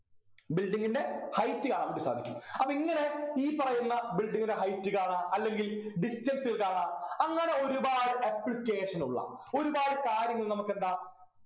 building ൻ്റെ height കാണാൻ വേണ്ടി സാധിക്കും അപ്പൊ ഇങ്ങനെ ഈ പറയുന്ന building ൻ്റെ height കാണാ അല്ലെങ്കിൽ distance കാണാ അങ്ങനെ ഒരുപാട് application ഉള്ള ഒരുപാട് കാര്യങ്ങൾ നമുക്കെന്താ